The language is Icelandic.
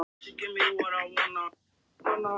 Prófum tvennar.